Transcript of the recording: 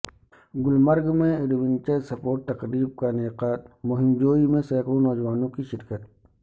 گلمرگ میں ایڈونچرسپورٹس تقریب کا انعقاد مہم جوئی میں سینکڑوں نوجوانوں کی شرکت